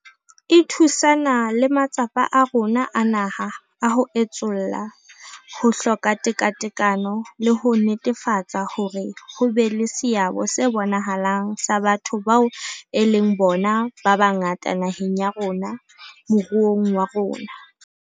E thusana le matsapa a rona a naha a ho etsolla ho hloka tekatekano le ho netefatsa hore ho be le seabo se bonahalang sa batho bao e leng bona ba bangata naheng ya rona moruong wa rona.